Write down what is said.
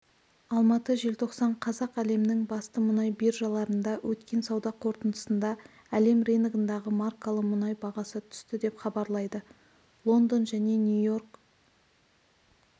алматы желтоқсан қазақ әлемнің басты мұнай биржаларында өткен сауда қортындысында әлем рыногындағы маркалы мұнай бағасы түсті деп хабарлайды лондон және нью-йорк